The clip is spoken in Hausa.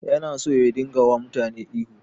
Yana so ya dinga wa mutane ihu